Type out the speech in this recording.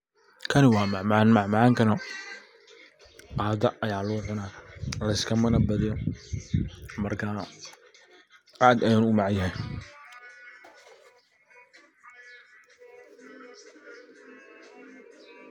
Kani waa macmacan, macmacankana qadoo aya lagu cuna. Macmacankana laiskamana badiyo aad ayuna u mac yahay.